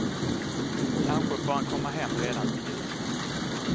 Kanske får han komma hem redan till jul.